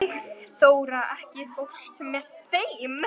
Sigþóra, ekki fórstu með þeim?